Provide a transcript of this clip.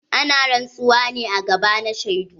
Ana rantsuwa ne a gaba na shaidu.